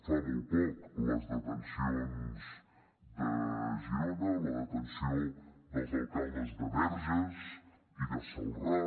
fa molt poc les detencions de girona o la detenció dels alcaldes de verges i de celrà